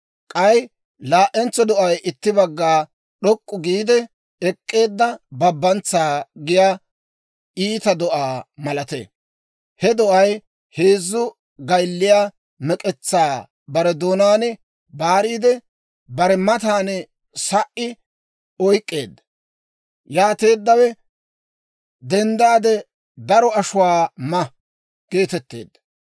«K'ay laa"entso do'ay itti bagga d'ok'k'u giide ek'k'eedda babantsaa giyaa iita do'aa malatee. He do'ay heezzu gaylliyaa mek'etsaa bare doonaan baariide, bare matan sa"i oyk'k'eedda. Yaateeddawe, ‹Denddaade daro ashuwaa ma› geetetteedda.